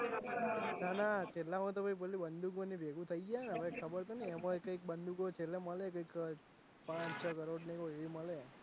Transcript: નાના છેલ્લા માતો પેલું બંદુકો એ ભેળું થઇ જાય હે હવે તો ખબર નહીં એમાં કૈક બંદુકો છેલ્લે મળે કૈક પાંચ છ કરોડ ની હોય એવી મળે.